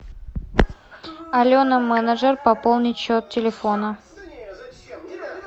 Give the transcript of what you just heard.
алена менеджер пополнить счет телефона